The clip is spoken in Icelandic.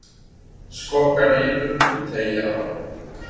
Skokka niður og teygja á.